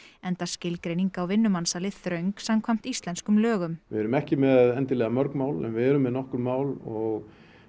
enda skilgreining á vinnumansali þröng samkvæmt íslenskum lögum við erum ekki með endilega mörg mál en við erum með nokkur mál og